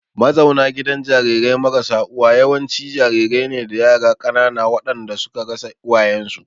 Mazauna gidan jarirai marasa uwa yawanci jarirai ne da yara ƙanana waɗanda suka rasa uwayensu.